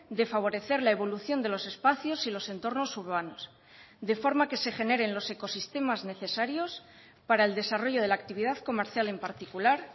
de favorecer la evolución de los espacios y los entornos urbanos de forma que se generen los ecosistemas necesarios para el desarrollo de la actividad comercial en particular